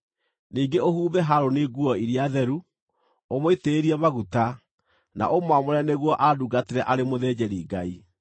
Ningĩ ũhumbe Harũni nguo iria theru, ũmũitĩrĩrie maguta, na ũmwamũre nĩguo andungatĩre arĩ mũthĩnjĩri-Ngai.